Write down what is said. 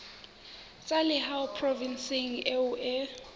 tsa lehae provinseng eo o